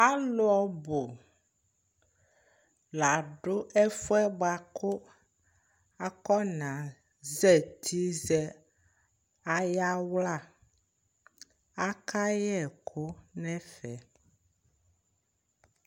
Alʊ ɔbʊ ladʊ ɛfʊ yɛ bʊakʊ akana zatɩ na yawla akayɛ ɛkʊ nʊ ɛfɛ